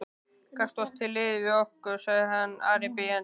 Gakktu til liðs við okkur, sagði Ari biðjandi.